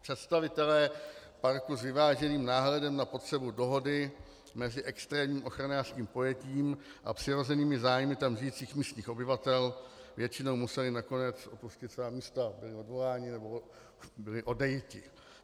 Představitelé parku s vyváženým náhledem na potřebu dohody mezi extrémním ochranářským pojetím a přirozenými zájmy tam žijících místních obyvatel většinou museli nakonec opustit svá místa, byli odvoláni nebo byli odejiti.